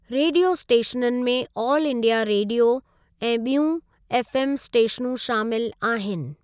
Radio स्टेशननि में all India radio ऐं ॿियूं एफ़एम स्टेशनूं शामिलु आहिनि।